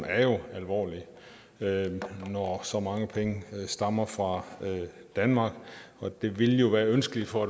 er jo alvorlig når så mange penge stammer fra danmark det vil jo være ønskeligt for